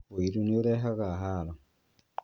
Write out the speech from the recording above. ũiru nĩiũrehaga haro